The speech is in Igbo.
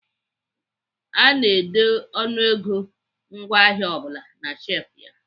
Ana ede ọnụego ngwaahịa ọ bụla na shefụ ya.